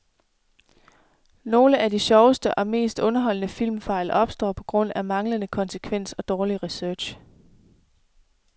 Nogle af de sjoveste og mest underholdende filmfejl opstår på grund af manglende konsekvens og dårlig research.